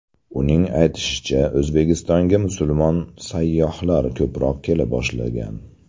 Uning aytishicha, O‘zbekistonga musulmon sayyohlar ko‘proq kela boshlagan.